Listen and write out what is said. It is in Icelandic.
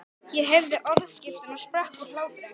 Ég heyrði orðaskiptin og sprakk úr hlátri.